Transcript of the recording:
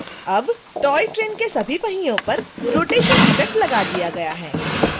अब toy train के सभी पहियों पर रोटेशन इफ़ेक्ट लगा दिया गया है